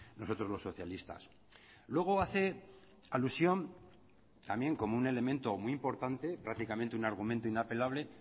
nosotros los socialistas luego hace alusión también como un elemento muy importante prácticamente un argumento inapelable